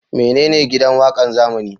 Menene Gidan Waƙan zamani?